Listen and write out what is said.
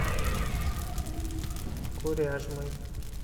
коряжмы